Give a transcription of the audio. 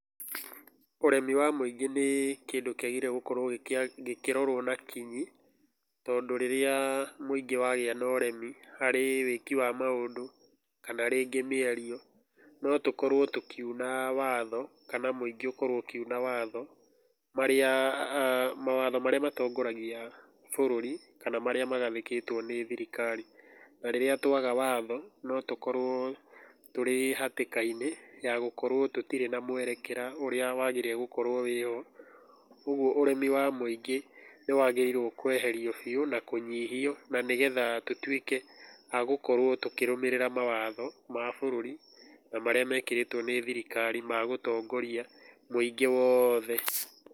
Ũremi wa mũingĩ nĩ kĩndũ kĩagĩrĩire gũkorwo gĩkĩrorwo na kinyi, tondũ rĩrĩa mũingĩ wagĩa na ũremi harĩ wĩki wa maũndũ kana rĩngĩ mĩario, no tũkorwo tũkiuna watho, kana mũingĩ ũkorwo ũkiuna watho, marĩa mawatho marĩa matongoragia bũrũri, kana marĩa magathĩkĩtwo nĩ thirikari. Na rĩrĩa twaga watho, no tũkorwo tũrĩ hatĩka-inĩ ya gũkorwo tũtirĩ na mwerekera ũrĩa wagĩrĩire gũkorwo wĩ ho. Kũguo ũremi wa mũingĩ nĩ wagĩrĩirwo kũeherio biũ na kũnyihio na nĩ getha tũtuĩke a gũkorwo tũkĩrũmĩrĩra mawatho ma bũrũri na marĩa mekĩrĩtwo nĩ thirikari ma gũtongoria mũingĩ wothe.